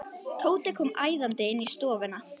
Tóti kom æðandi inn í stofuna.